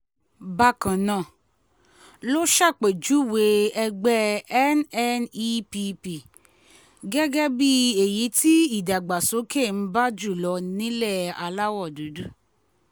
bákan náà ló ṣàpèjúwe ẹgbẹ́ nnepp gẹ́gẹ́ bíi èyí tí ìdàgbàsókè ń bá jù lọ nílẹ̀ aláwọ̀ dúdú